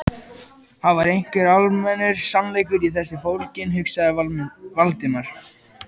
Það var einhver almennur sannleikur í þessu fólginn, hugsaði Valdimar.